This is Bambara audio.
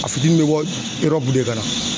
A fitiini bɛ bɔ de ka na.